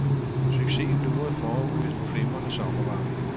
Succesen lurede forude i den flimrende sommervarme.